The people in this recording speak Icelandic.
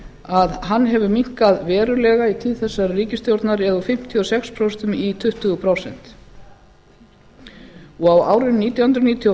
að hann hefur minnkað verulega í tíð þessarar ríkisstjórnar eða úr fimmtíu og sex prósent í tuttugu prósent árið nítján hundruð níutíu